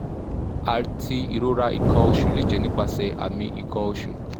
ati irora ikan osu le je nipase ami ikan osu